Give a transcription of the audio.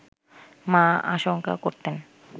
মা আশংকা করতেন